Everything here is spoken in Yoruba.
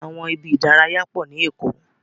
Àwọn ibi ìdárayá pọ ni Èkó.